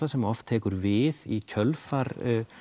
sem oft tekur við í kjölfar